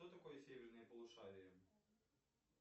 что такое северное полушарие